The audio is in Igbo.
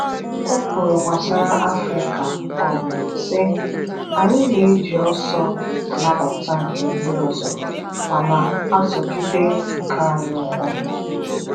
O kwuru gbasara Afịrịka um sị, Anyị na-eji ọsọ a nabata nke ndị ọzọ ma na-azọgide nke anyị ụkwụ.